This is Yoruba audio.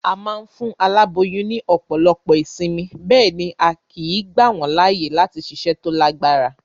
A ma n fún aláboyún ní òpòlopo ìsinmi, béèni a kìí gbà wón láàyè láti siṣẹ́ to lágbára